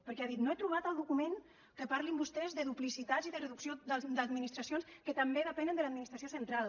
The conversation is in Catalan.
perquè ha dit no he trobat el document que parlin vostès de duplicitat i de reducció d’administracions que també depenen de l’administració central